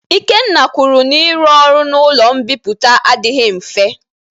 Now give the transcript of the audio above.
Ikenna kwuru n'iru ọrụ n'ụlọ mbipụta adịghị mfe